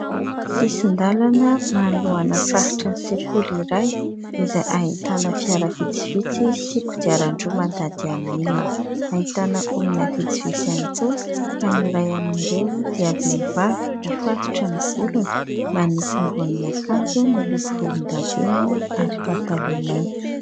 Sisin-dalana manoloana faritry ny sekoly iray izay ahitana fiara vitsivitsy sy kodiaran-droa mandady amin'ny milina, ahitana olona vitsivitsy ihany koa ka ny ray amin'ireo dia vehivavy mifatotra ny volony manao ambonin' akanjo miloko volondavenina ary pataloha mainty.